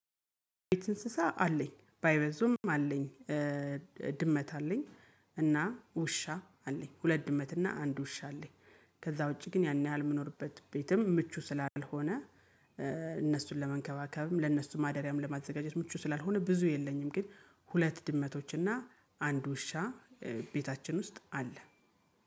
እንስሳ አለኝ ባይበዙም አለኝ። ድመት አለኝ። እና ውሻ አለኝ ሁለት ድመት እና አንድ ውሻ አለኝ። ከዛ ውጪ ግን ያን ያህል የምኖርበት ቤትም ምቹ ስላልሆነ ለመንከባከብም ለእነሱ ማደሪያም ለማዘጋጀት ምቹ ስላልሆነ ብዙ የለኝም። ግን ሁለት ድመቶችና አንድ ውሻ ቤታችን ውስጥ አለ